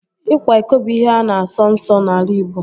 Ịkwa iko bụ ihe a na-asọ nsọ n'ala Igbo